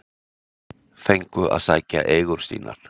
Fengu að sækja eigur sínar